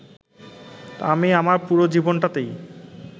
আমি আমার পুরো জীবনটাতেই